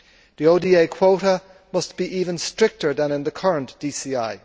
The ODA quota must be even stricter than in the current DCI.